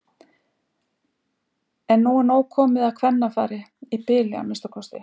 En nú er nóg komið af kvennafari- í bili að minnsta kosti.